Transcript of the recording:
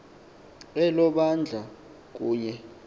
elo bandla kunye